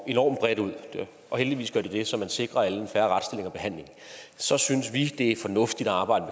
enormt bredt ud og heldigvis gør de det så man sikrer alle en fair retsstilling og behandling så synes vi det er fornuftigt at arbejde